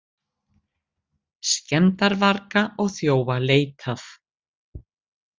Skemmdarvarga og þjófa leitað